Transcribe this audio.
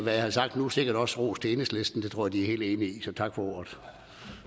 jeg har sagt nu sikkert også rosen til enhedslisten den tror jeg de er helt enige i tak for ordet